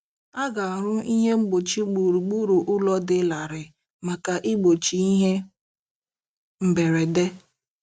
A ga-arụ ihe mgbochi gburugburu ụlọ dị larịị maka igbochi ihe mberede.